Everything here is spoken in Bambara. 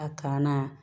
A kan na